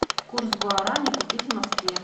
курс гуарани купить в москве